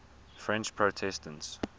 french protestants